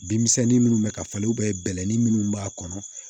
Bin misɛnnin minnu bɛ ka falen bɛlɛnin minnu b'a kɔnɔ